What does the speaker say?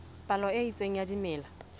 palo e itseng ya dimela